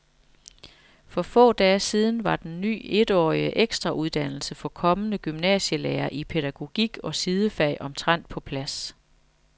For få dage siden var den ny etårige ekstrauddannelse for kommende gymnasielærere i pædagogik og sidefag omtrent på plads.